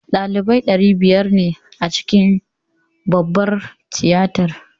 Ɗalibai ɗari biyar ne a cikin babbar tiyatar